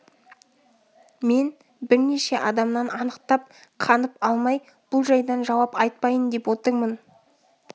мен бірнеше адамнан анықтап қанып алмай бұл жайдан жауап айтпайын деп отырмын